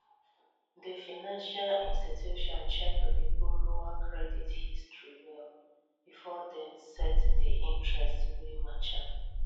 di financial institution check di borrower credit history well before dem set di interest wey match am